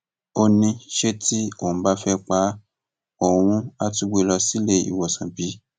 ó ní ṣe tí òun bá fẹẹ pa á ṣe òun àá tún gbé e lọ sílé ìwòsàn bí